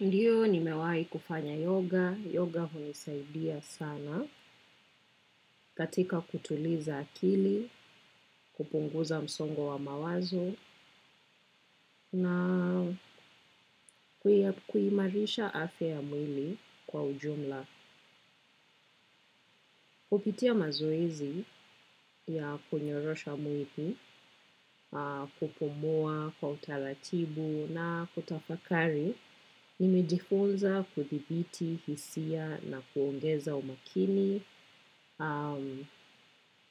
Ndio nimewahi kufanya yoga. Yoga hunisaidia sana katika kutuliza akili, kupunguza msongo wa mawazo na kuimarisha afya mwili kwa ujumla. Kupitia mazoezi ya kunyorosha mwili, kupumua kwa utaratibu na kutafakari nimejifunza kuthibiti hisia na kuongeza umakini.